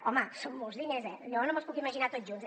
home són molts diners eh jo no me’ls puc imaginar tots junts